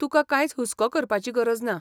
तुका कांयच हुस्को करपाची गरज ना.